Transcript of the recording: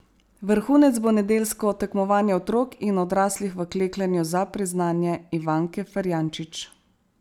Vrhunec bo nedeljsko tekmovanje otrok in odraslih v klekljanju za priznanje Ivanke Ferjančič.